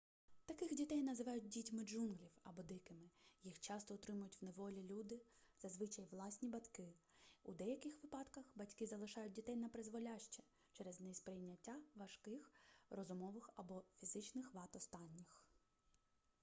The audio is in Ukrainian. таких дітей називають дітьми джунглів або дикими. їх часто утримують в неволі люди зазвичай власні батьки; у деяких випадках батьки залишають дітей напризволяще через неприйняття важких розумових або фізичних вад останніх